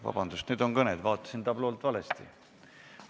Vabandust, need on kõned, vaatasin tabloolt valesti.